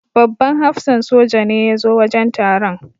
Babban hafsan soja ne ya zo wajen taron.